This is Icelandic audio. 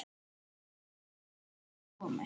Krakkar geriði það komiði!